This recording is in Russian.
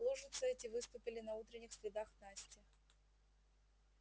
лужицы эти выступили на утренних следах насти